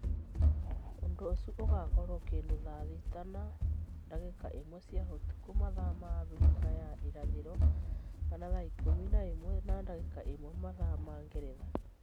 Ũndu ũcio ũgakorwo kindu thaa thita na ndagika ĩmwe cia utuku mathaa ma Abirika ya irathiro kana thaa ikumi na imwe na dagika imwe mathaa ma Ngeretha